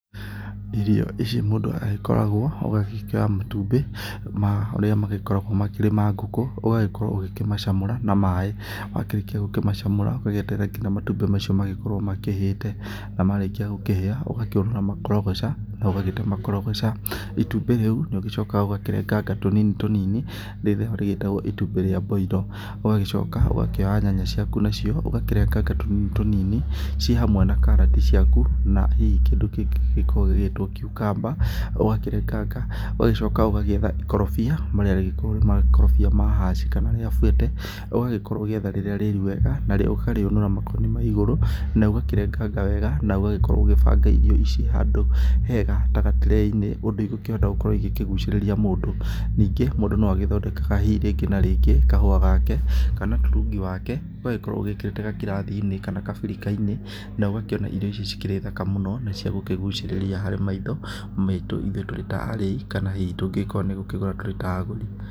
Irio ici mũndũ agĩkoragwo ũgagĩkĩoya matumbĩ marĩa magĩkoragwo makĩrĩ ma ngũkũ, ũgagĩkorwo ũkĩmacamũra na maaĩ, wakĩrĩkia kũmacamũra ugĩeterere nginya matumbĩ macio magĩkorwo makĩhĩte, na marĩkia kũhĩa ũgakĩũnũra makorogoca, na ũgagĩte makorogoca. Itumbĩ rĩu nĩũcokaga ũkarenganga tũnini tũnini nĩrĩo rĩtagũo itumbĩ rĩa mboiro, ũgagĩcoka ũkoya nyanya ciaku nacio ũgakĩrenganga tũnini tũnini ci hamwe na karati ciaku na hihi kĩndũ kĩngĩ kĩngĩkorũo gĩgĩtũo cucumber ũgakĩrenganga, ũgagicoka ũgagĩetha ikorobia marĩa mangikorwo ni ikorobia rĩa hass kana rĩa fuerte ũgagĩkorwo ũgĩetha rĩrĩa rĩĩru wega, narĩo ũkarĩũnũra makoni ma ĩgũrũ na ũgakĩrenganga wega na ũgakorwo ũgĩbanga irio icio handu hega ta gature-inĩ, ũndũ igũkĩhota gũkorwo igĩkĩgucĩrĩria mũndu. Ningĩ mũndũ no agĩthondeke na hihi kahũa gake kana turungi wake ũgagĩkorwo wĩkĩrĩte gakirathi-inĩ na kabirikai-inĩ na ũgakĩona irio icio cikĩrĩ thaka mũno, na ciagũkĩgũcĩrĩria harĩ maitho maitũ ithuĩ tũĩ ta arĩi kana hihi tungĩgĩkorwo ni gũkĩgũra kĩndũ ta agũri.